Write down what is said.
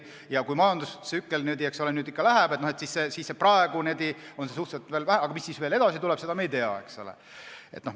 Praegu on neid veel suhteliselt vähe, aga kui majandustsükkel vahetub, siis mis edasi tuleb, seda me ei tea.